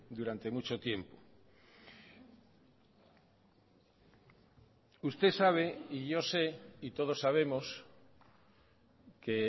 durante mucho tiempo usted sabe y yo sé y todos sabemos que